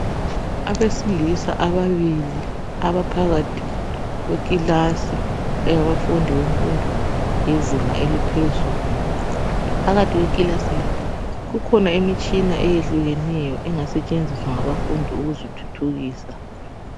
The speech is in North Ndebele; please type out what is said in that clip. Abesilisa ababili abaphakathi kwekilasi yabafundi bemfundo yezinga eliphezulu. Phakathi kwekilasi le kukhona imitshina eyehlukeneyo engasetshenziswa ngabafundi ukuzithuthukisa.